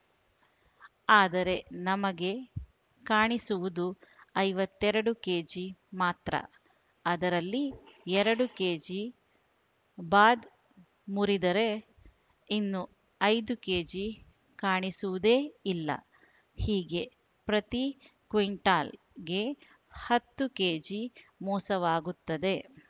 ಆದರೆ ನಮಗೆ ಕಾಣಿಸುವುದು ಐವತ್ತೆರಡು ಕೆಜಿ ಮಾತ್ರ ಅದರಲ್ಲಿ ಎರಡು ಕೆಜಿ ಬಾದ್‌ ಮುರಿದರೆ ಇನ್ನು ಐದು ಕೆಜಿ ಕಾಣಿಸುವುದೇ ಇಲ್ಲ ಹೀಗೆ ಪ್ರತಿ ಕ್ವಿಂಟಲಗೆ ಹತ್ತು ಕೆಜಿ ಮೋಸವಾಗುತ್ತದೆ